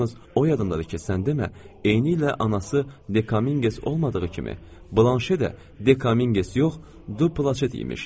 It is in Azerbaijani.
Yalnız o yadımdadır ki, sən demə, eynilə anası Dekaminges olmadığı kimi, Blanşe də Dekaminges yox, Duplaşet imiş.